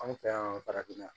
Anw fɛ yan farafinna